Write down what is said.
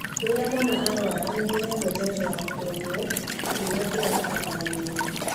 Rĩrĩa mwana ararorwo nĩahegwo njanjo na kũrorwo kĩrĩa kĩrabatarania.